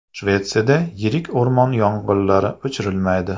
Shvetsiyada yirik o‘rmon yong‘inlari o‘chirilmaydi.